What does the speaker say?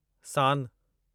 सानु